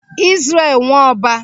Izrel Nwọba